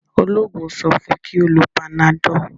oloogun so fun kí o ló Panadol.